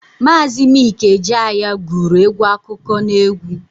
Maazi Mik Ejeaya guru egwu akụkọ n'egwu.